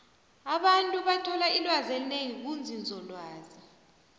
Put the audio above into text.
abantu bathola ilwazi elinengi kunzinzolwazi